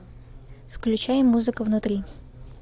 включай музыка внутри